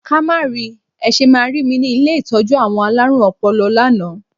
Ká má ri! Ẹ ṣe máa rí mi ni ilé ìtọ́jú àwọn alárùn ọpọlọ lánàá.